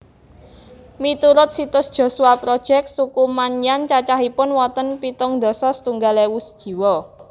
Miturut situs Joshua Project suku Maanyan cacahipun wonten pitung dasa setunggal ewu jiwa